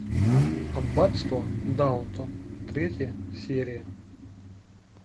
аббатство даунтон третья серия